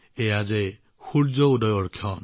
এতিয়া সূৰ্য উদয় হৈছে